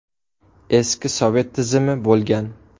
Eski sovet tizimi bo‘lgan.